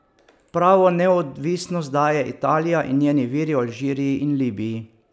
Pravo neodvisnost daje Italija in njeni viri v Alžiriji in Libiji.